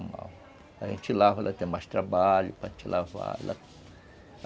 A gente lava, ela tem mais trabalho para gente lava-la